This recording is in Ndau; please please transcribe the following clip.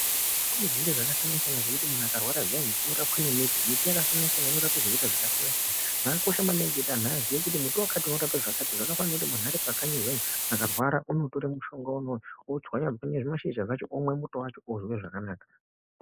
Kune zvinhu zvakasiyana siyana zvekuti muntu akarwara zviyani anorapwa nemiti miti yakasiyana siyana inorapa zvirwere zvakasiyana siyana zvakakosha maningi kuti vantu vazive kuti muti wakati unorapa zvakati zvakafanana zviyani muntu aripakanyi akarwara zviyani anotwara zvimashizha zvacho umwe muto wacho ozwa zvakanaka.